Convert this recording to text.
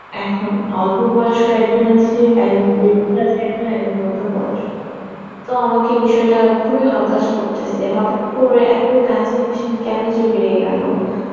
এখন অল্প বয়সও একজন আছে, একজন বৃদ্ধ আছে একজন, একজন মধ্যবয়স্ক মানুষ তো আমাকে বিষয়টা খুবই হতাশ করতেসে হঠাৎ করে এত cancer patient কেন যে বেড়ে গেল?